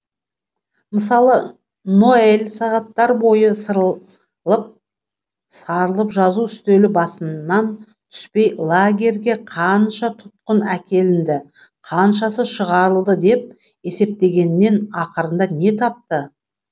мысалы ноэль сағаттар бойы сарылып жазу үстелі басынан түспей лагерге қанша тұтқын әкелінді қаншасы шығарылды деп есептегеннен ақырында не тапты